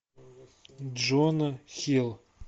джона хилл